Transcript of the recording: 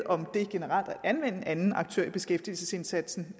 det generelt at anvende anden aktør i beskæftigelsesindsatsen